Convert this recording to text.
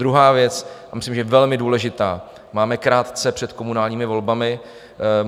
Druhá věc, myslím si, že velmi důležitá: máme krátce před komunálními volbami.